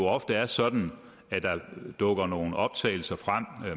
ofte er sådan at der dukker nogle optagelser frem